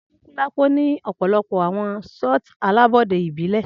Anikulapo ni ọpọlọpọ awọn shoti alabọde ibile